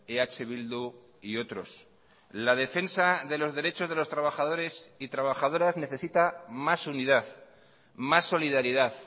eh bildu y otros la defensa de los derechos de los trabajadores y trabajadoras necesita más unidad más solidaridad